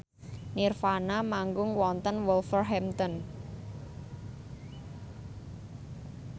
nirvana manggung wonten Wolverhampton